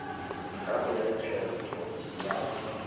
gago ya lekgetho e siame